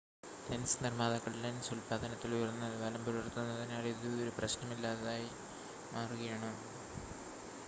lens നിർമ്മാതാക്കൾ lens ഉൽപ്പാദനത്തിൽ ഉയർന്ന നിലവാരം പുലർത്തുന്നതിനാൽ ഇത് ഒരു പ്രശ്‌നമല്ലാതായി മാറുകയാണ്